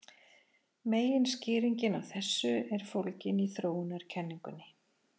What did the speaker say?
Meginskýringin á þessu er fólgin í þróunarkenningunni.